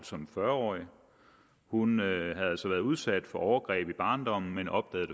som fyrre årig hun havde altså været udsat for overgreb i barndommen men opdagede